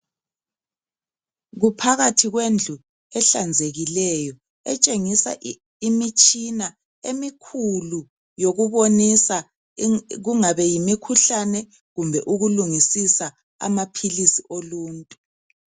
Kuphakathi kwendlu ehlanzekileyo etshengisa imitshina emikhulu yokubonisa kungabe yimikhuhlane kumbe ukulungisisa amaphilisi oluntu.